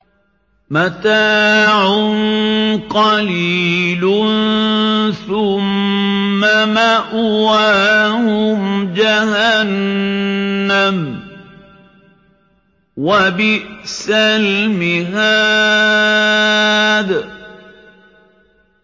مَتَاعٌ قَلِيلٌ ثُمَّ مَأْوَاهُمْ جَهَنَّمُ ۚ وَبِئْسَ الْمِهَادُ